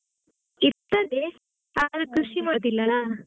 ಇರ್ತದೆ .